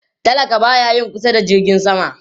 Talaka ba ya yin kusa da jirgin sama